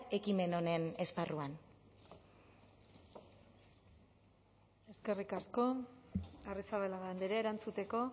ekimen honen esparruan eskerrik asko arrizabalaga andrea erantzuteko